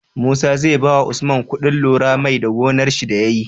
Musa zai bawa usman kuɗin lurar mai da gonar shi da yayi?